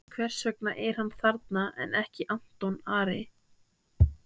Hvers vegna er hann þarna en ekki Anton Ari?